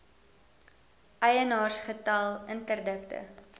eienaars getal interdikte